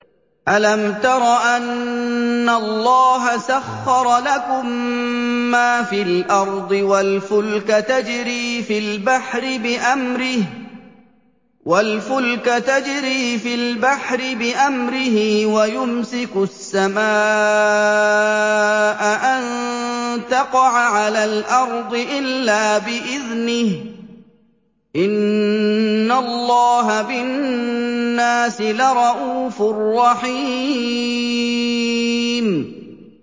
أَلَمْ تَرَ أَنَّ اللَّهَ سَخَّرَ لَكُم مَّا فِي الْأَرْضِ وَالْفُلْكَ تَجْرِي فِي الْبَحْرِ بِأَمْرِهِ وَيُمْسِكُ السَّمَاءَ أَن تَقَعَ عَلَى الْأَرْضِ إِلَّا بِإِذْنِهِ ۗ إِنَّ اللَّهَ بِالنَّاسِ لَرَءُوفٌ رَّحِيمٌ